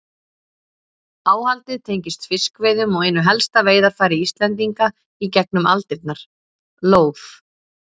Áhaldið tengist fiskveiðum og einu helsta veiðarfæri Íslendinga í gegnum aldirnar, lóð.